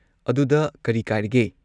ꯑꯗꯨꯗ ꯀꯔꯤ ꯀꯥꯏꯔꯒꯦ?